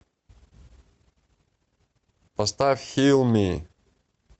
поставь хилми